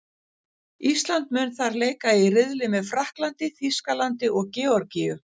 Ísland mun þar leika í riðli með Frakklandi, Þýskalandi og Georgíu.